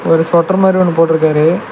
ஒரு சொட்டர் மாரி ஒன்னு போட்டுருக்காரு.